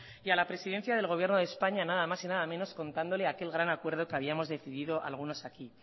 y a la presidencia del gobierno de españa nada más y nada menos contándole aquel gran acuerdo que habíamos decidido algunos aquí